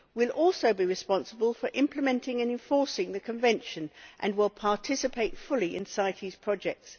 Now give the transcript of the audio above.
We will also be responsible for implementing and enforcing the Convention and will participate fully in CITES projects.